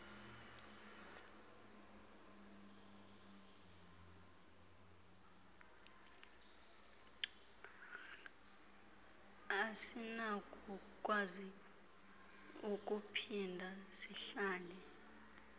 asinakukwazi ukuphinda sihlale